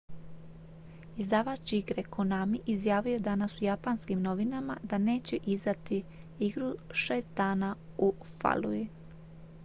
izdavač igre konami izjavio je danas u japanskim novinama da neće izdati igru šest dana u falluji